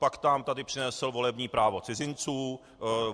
Pak nám tady přinesl volební právo cizinců.